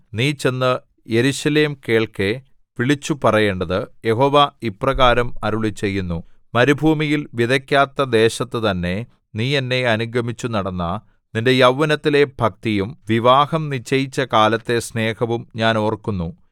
നീ ചെന്ന് യെരൂശലേം കേൾക്കെ വിളിച്ചുപറയേണ്ടത് യഹോവ ഇപ്രകാരം അരുളിച്ചെയ്യുന്നു മരുഭൂമിയിൽ വിതയ്ക്കാത്ത ദേശത്തുതന്നെ നീ എന്നെ അനുഗമിച്ചു നടന്ന നിന്റെ യൗവനത്തിലെ ഭക്തിയും വിവാഹം നിശ്ചയിച്ച കാലത്തെ സ്നേഹവും ഞാൻ ഓർക്കുന്നു